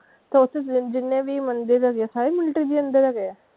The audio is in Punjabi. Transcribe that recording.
ਤੇ ਓਥੇ ਜਿੰਨੇ ਵੀ ਮੰਦਿਰ ਹੈਗੇ ਆ ਸਾਰੇ military ਦੇ under ਹੈਗੇ ਆ?